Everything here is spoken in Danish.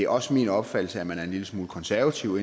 også min opfattelse at man indimellem er en lille smule konservative